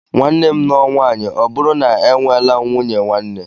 Nwanne m nụọ nwaanyị ọ bụrụ na e nweelam nwunye nwanne